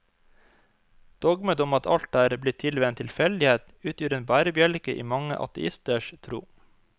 Dogmet om at alt er blitt til ved en tilfeldighet, utgjør en bærebjelke i mange ateisters tro.